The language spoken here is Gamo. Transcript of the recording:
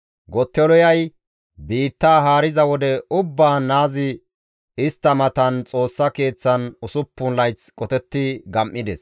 Gottoliyay biittaa haariza wode ubbaan naazi istta matan Xoossa Keeththan usuppun layth qotetti gam7ides.